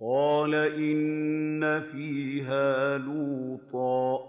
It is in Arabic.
قَالَ إِنَّ فِيهَا لُوطًا ۚ